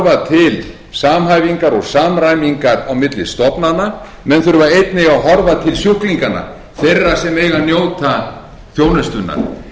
að horfa til samhæfingar og samræmingar á milli stofnana menn þurfa einnig að horfa til sjúklinganna þeirra sem eiga að njóta þjónustunnar